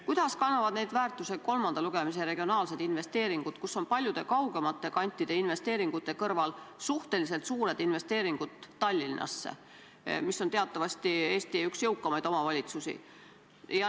Kuidas kannavad neid väärtusi kolmanda lugemise eelnõus olevad regionaalsed investeeringud, kus paljude kaugemate kantide investeeringute kõrval on kirjas suhteliselt suured investeeringud Tallinnasse, mis on teatavasti Eesti üks jõukamaid omavalitsusi?